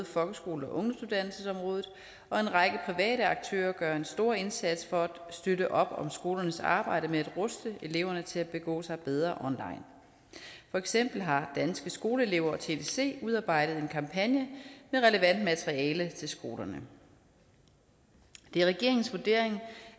folkeskole og ungdomsuddannelsesområdet og en række private aktører gør en stor indsats for at støtte op om skolernes arbejde med at ruste eleverne til at begå sig bedre online for eksempel har danske skoleelever og tdc udarbejdet en kampagne med relevant materiale til skolerne det er regeringens vurdering